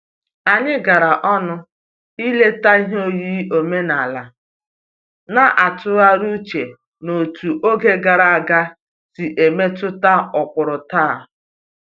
Anyị gara ọnụ ileta ihe oyiyi omenala, na-atụgharị uche n'otú oge gara aga si emetụta ụkpụrụ taa